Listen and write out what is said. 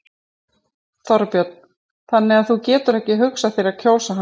Þorbjörn: Þannig að þú getur ekki hugsað þér að kjósa hann?